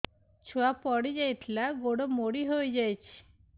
ଛୁଆ ପଡିଯାଇଥିଲା ଗୋଡ ମୋଡ଼ି ହୋଇଯାଇଛି